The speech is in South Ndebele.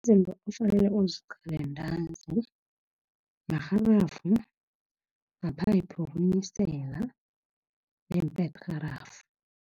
Izinto ofanele uziqale ntanzi, marharafu, maphayiphu wokunisela, neempedirharafu.